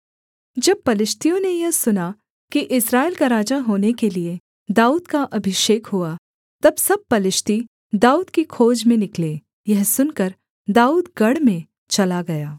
जब पलिश्तियों ने यह सुना कि इस्राएल का राजा होने के लिये दाऊद का अभिषेक हुआ तब सब पलिश्ती दाऊद की खोज में निकले यह सुनकर दाऊद गढ़ में चला गया